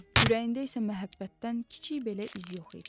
Ürəyində isə məhəbbətdən kiçik belə iz yox idi.